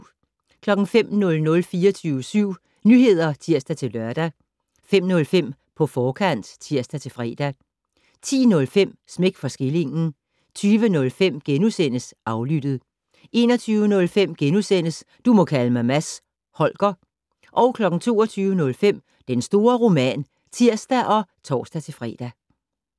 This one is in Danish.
05:00: 24syv Nyheder (tir-lør) 05:05: På forkant (tir-fre) 10:05: Smæk for skillingen 20:05: Aflyttet * 21:05: Du må kalde mig Mads Holger * 22:05: Den store roman (tir og tor-fre)